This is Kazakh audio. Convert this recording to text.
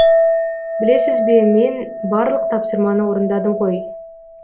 білесіз бе мен барлық тапсырманы орындадым ғой